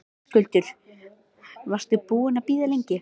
Höskuldur: Varstu búinn að bíða lengi?